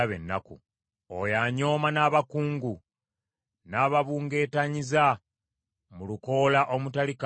oyo anyooma n’abakungu, n’ababungeetanyiza mu lukoola omutali kantu.